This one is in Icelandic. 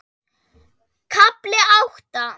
KAFLI ÁTTA